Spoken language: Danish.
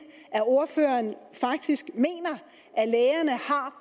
at ordføreren faktisk mener